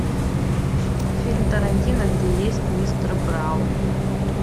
фильм тарантино где есть мистер браун